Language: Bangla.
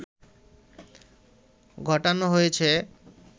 ঘটানো হয়েছে